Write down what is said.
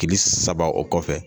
Kili saba o kɔfɛ.